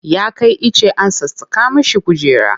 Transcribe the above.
Ya kai ice an sassaƙa mishi kujera.